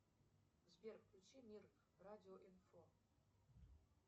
сбер включи мир радио инфо